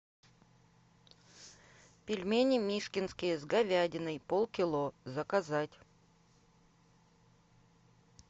пельмени мишкинские с говядиной полкило заказать